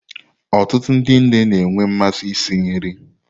Ọtụtụ ndi nne na-enwe mmasị isi nri.